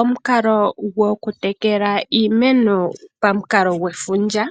Omukalo gwoku tekela iimeno pamukalo gwefundja